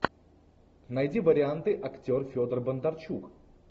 найди варианты актер федор бондарчук